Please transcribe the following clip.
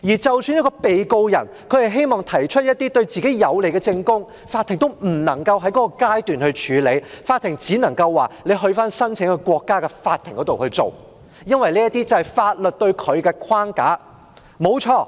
即使一名被告人希望提出一些對自己有利的證供，法庭也不能夠在該階段處理，只能夠要求被告人在申請國家的法庭處理，因為這是法律設下的框架。